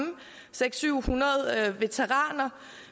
seks hundrede veteraner